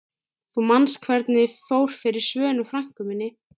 Þú manst hvernig fór fyrir Svönu frænku minni.